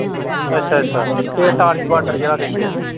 ਅੱਛਾ ਅੱਛਾ ਤੇ ਅਟਾਰੀ ਬਾਰਡਰ ਜਿਹੜਾ ਕਹਿੰਦੇ।